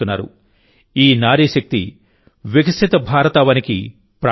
ఈ నారీశక్తి వికసిత భారతావనికి ప్రాణవాయువు